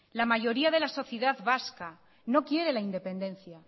la mayoría de la sociedad vasca no quiere la independencia